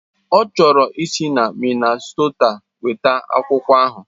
Ọ chọrọ isi na Minnasota weta akwụkwọ ahụ